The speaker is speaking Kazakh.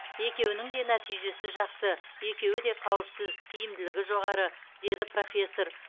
екеуінің де нәтижесі жақсы екеуі де қауіпсіз тиімділігі жоғары деді профессор